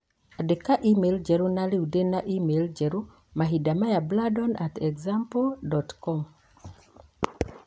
Andĩka e-mail njerũ na rĩu ndĩ na e-mail njerũ mahinda maya Brandon at example dot com